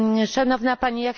Szanowna Pani!